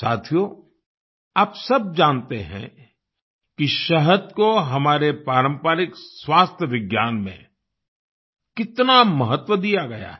साथियो आप सब जानते हैं कि शहद को हमारे पारंपरिक स्वास्थ्य विज्ञान में कितना महत्व दिया गया है